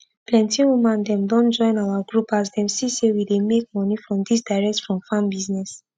plenty woman dem don join our group as dem see say we dey make moni from dis direct from farm business